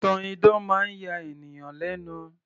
ìtàn idán máa ń ya ènìyàn lẹ́nu